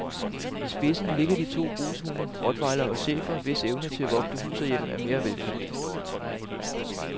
I spidsen ligger de to brugshunde rottweiler og schæfer, hvis evne til at vogte hus og hjem er mere velkendt.